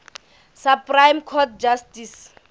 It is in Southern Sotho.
supreme court justice